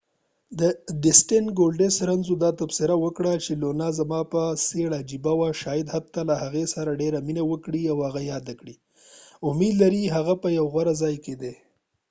ډسټین ګولډسټ رنزونو دا تبصره وکړه چې لونا زما په څیر عجیب وه شاید حتی له هغې سره ډیره مینه وکړي او هغه یاده کړي امید لري هغه په یو غوره ځای کې ده